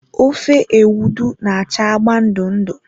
Ofe Ewedu na-acha agba ndụ ndụ.